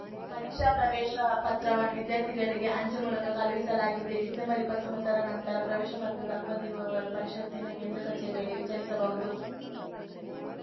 ಪರೀಕ್ಷಾ ಪ್ರವೇಶ ಪತ್ರವನ್ನು ವಿದ್ಯಾರ್ಥಿಗಳಿಗೆ ಅಂಚೆ ಮೂಲಕ ಕಳುಹಿಸಲಾಗಿದೆ ಡಿಸೆಂಬರ್ಇಪ್ಪತ್ತೊಂಬತ್ತರ ನಂತರ ಪ್ರವೇಶ ಪತ್ರ ತಲುಪದಿರುವವರು ಪರಿಷತ್ತಿನ ಕೇಂದ್ರ ಕಚೇರಿಯಲ್ಲಿ ವಿಚಾರಿಸಬಹುದು